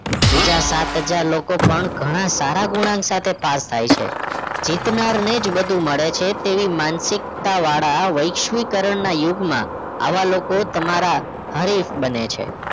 બીજા સાત હજાર લોકો પણ ઘણા સારા ગુણાંક સાથે પાસ થાય છે જીતનાર ને જ બધું મળે છે તેવી માનસિકતા વાડા વૈશ્વિકરણના યુગમાં આવા લોકો તમારા હરીફ બને છે